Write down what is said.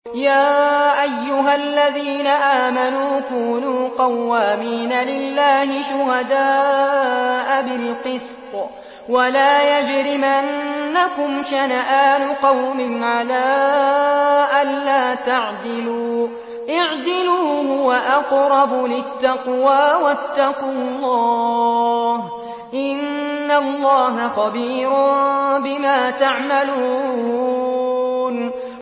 يَا أَيُّهَا الَّذِينَ آمَنُوا كُونُوا قَوَّامِينَ لِلَّهِ شُهَدَاءَ بِالْقِسْطِ ۖ وَلَا يَجْرِمَنَّكُمْ شَنَآنُ قَوْمٍ عَلَىٰ أَلَّا تَعْدِلُوا ۚ اعْدِلُوا هُوَ أَقْرَبُ لِلتَّقْوَىٰ ۖ وَاتَّقُوا اللَّهَ ۚ إِنَّ اللَّهَ خَبِيرٌ بِمَا تَعْمَلُونَ